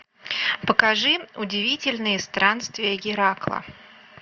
покажи удивительные странствия геракла